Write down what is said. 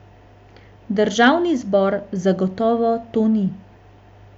Državni zbor zagotovo to ni.